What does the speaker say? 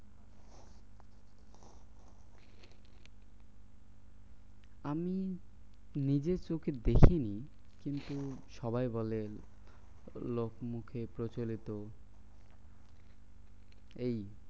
আমি নিজের চোখে দেখিনি কিন্তু সবাই বলে লোক মুখে প্রচলিত এই।